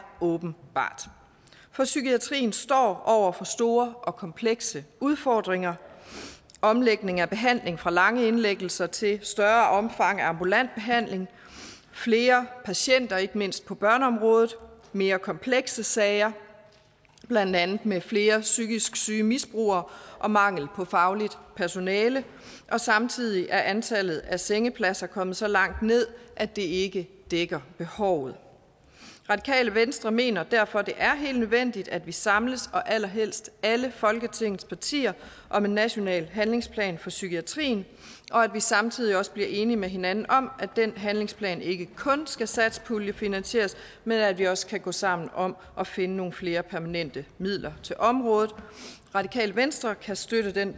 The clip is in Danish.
åbenbart for psykiatrien står over for store og komplekse udfordringer omlægning af behandling fra lange indlæggelser til et større omfang af ambulant behandling flere patienter ikke mindst på børneområdet mere komplekse sager blandt andet med flere psykisk syge misbrugere og mangel på fagligt personale og samtidig er antallet af sengepladser kommet så langt ned at det ikke dækker behovet radikale venstre mener derfor det er helt nødvendigt at vi samles allerhelst alle folketingets partier om en national handlingsplan for psykiatrien og at vi samtidig også bliver enige med hinanden om at den handlingsplan ikke kun skal satspuljefinansieres men at vi også kan gå sammen om at finde nogle flere permanente midler til området radikale venstre kan støtte det